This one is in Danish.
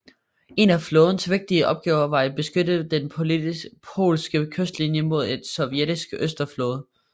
En af flådens vigtigste opgaver var at beskytte den polske kystlinie mod et sovjetiske Østersøflåde